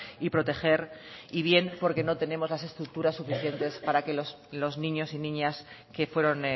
y proteger y bien porque no tenemos las estructuras suficientes para que los niños y niñas que fueron